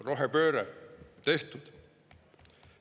Rohepööre – tehtud.